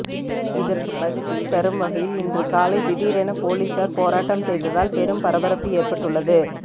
இதற்கு பதிலடி தரும் வகையில் இன்று காலை திடீரென போலீசார் போராட்டம் செய்ததால் பெரும் பரபரப்பு ஏற்பட்டுள்ளது